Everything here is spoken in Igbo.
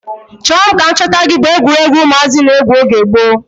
Chọọ mụ ka m chọta gị bu egwuruegwu ụmụazị na-egwu oge gboo.